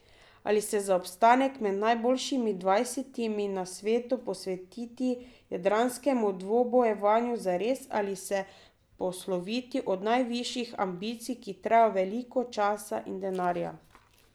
Ali se za obstanek med najboljšimi dvajsetimi na svetu posvetiti jadralskemu dvobojevanju zares ali se posloviti od najvišjih ambicij, ki terjajo veliko časa in denarja.